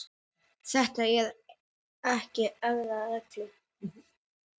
Þetta eru ekki erfiðar reglur.